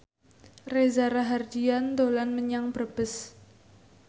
Reza Rahardian dolan menyang Brebes